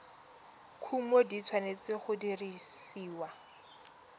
kumo di tshwanetse go dirisiwa